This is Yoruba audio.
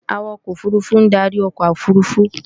Awakọ̀ òfurufú ń darí ọkọ̀ òfurufú